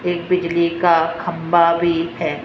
एक बिजली का खंभा भी है।